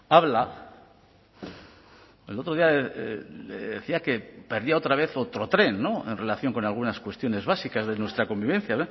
habla el otro día decía que perdía otra vez otro tren en relación con algunas cuestiones básicas de nuestra convivencia